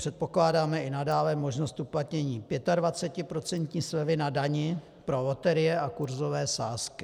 Předpokládáme i nadále možnost uplatnění 25% slevy na dani pro loterie a kurzové sázky.